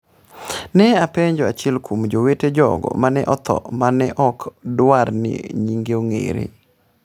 ne openjo achiel kuom jowete jogo ma ne otho ma ne ok dwar ni nyinge ong’ere.